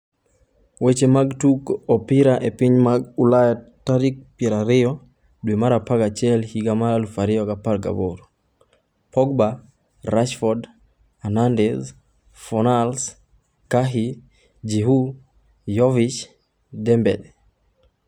Weche mag Tugo Opira e Pinje mag Ulaya tarik ariyo tarik 20.11.2018: Pogba, Rashford, Hernandez, Fornals, Cahill, Giroud, Jovic, Dembele